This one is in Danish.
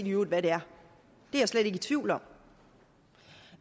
i øvrigt er det er jeg slet ikke i tvivl om og